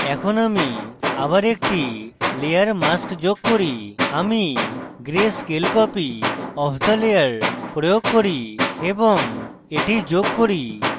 এখন আমি আবার একটি layer mask যোগ করি আমি gray scale copy of the layer প্রয়োগ করি এবং এটি যোগ করি